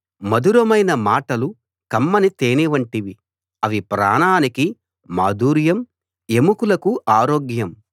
మధురమైన మాటలు కమ్మని తేనె వంటివి అవి ప్రాణానికి మాధుర్యం ఎముకలకు ఆరోగ్యం